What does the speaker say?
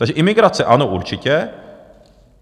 Takže imigrace ano, určitě.